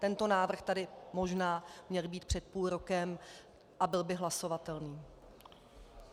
Tento návrh tady možná měl být před půl rokem a byl by hlasovatelný.